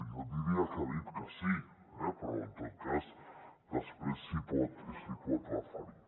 jo diria que ha dit que sí eh però en tot cas després s’hi pot referir